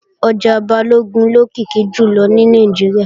Ọjà Balógun ló lókìkí jùlọ ní Nàìjíríà